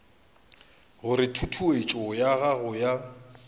gore tutuetšo ya go ya